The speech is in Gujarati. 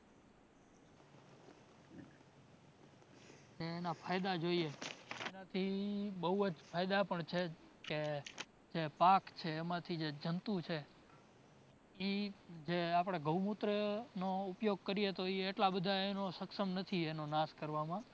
ને એના ફાયદા જોઈએ, એનાથી બોવ જ ફાયદા પણ છે કે, કે પાક છે એમાથી જે જંતુ છે, ઇ જે આપડે ગૌમુત્રનો ઉપયોગ કરીયે તો ઇ એટલા બધા એનો શક્ષમ નથી એનો નાષ કરવામાં